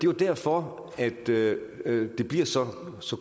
jo derfor at det det bliver så